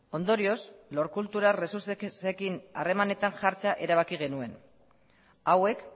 ondorioz lord cultural resourcesekin harremanetan jartzea erabaki genuen hauek